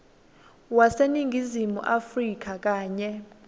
waseningizimu afrika kanye